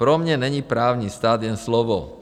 Pro mě není právní stát jen slovo."